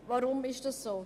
Weshalb dies?